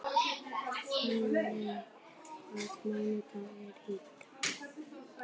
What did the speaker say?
Finney, hvaða mánaðardagur er í dag?